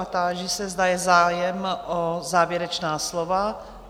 A táži se, zda je zájem o závěrečná slova?